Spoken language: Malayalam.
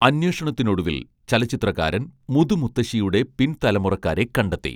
അന്വേഷണത്തിനൊടുവിൽ ചലച്ചിത്രകാരൻ മുതുമുത്തശ്ശിയുടെ പിൻതലമുറക്കാരെ കണ്ടെത്തി